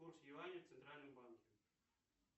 курс юаня в центральном банке